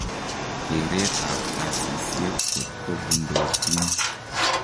Keret ab gasisiek kotgo bundootin.